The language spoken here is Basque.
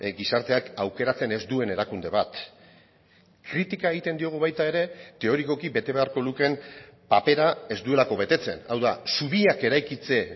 gizarteak aukeratzen ez duen erakunde bat kritika egiten diogu baita ere teorikoki bete beharko lukeen papera ez duelako betetzen hau da zubiak eraikitze